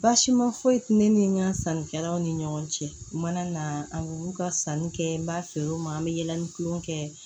Baasi ma foyi tɛ ne ni n ka sannikɛlaw ni ɲɔgɔn cɛ u mana na an b'u ka sanni kɛ n b'a feere u ma an bɛ yaala ni kulonkɛ kɛ